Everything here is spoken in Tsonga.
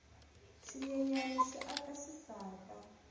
swinyenyani swi aka swisaka